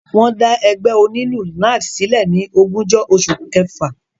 Wọ́n dá ẹgbẹ́ onílù NARD sílẹ̀ ní ogúnjọ́ oṣù kẹfà.